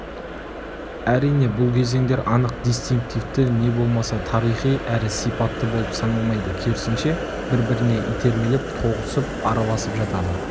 әрине бұл кезеңдер анық дистинктивті не болмаса тарихи әрі сипатты болып саналмайды керісінше бір-біріне итермелеп тоғысып араласып жатады